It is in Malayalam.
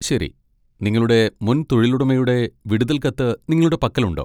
ശരി, നിങ്ങളുടെ മുൻ തൊഴിലുടമയുടെ വിടുതൽ കത്ത് നിങ്ങളുടെ പക്കലുണ്ടോ?